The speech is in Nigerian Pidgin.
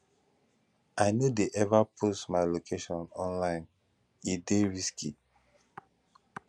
i no dey ever post my location online e dey risky